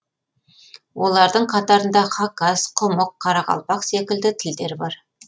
олардың қатарында хакас құмық қарақалпақ секілді тілдер бар